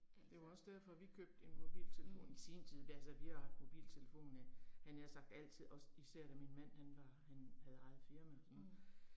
Det var også derfor vi købte en mobiltelefon i sin tid altså vi har jo haft mobiltelefon havde jeg nær sagt altid også især da min mand han var, han havde eget firma og sådan noget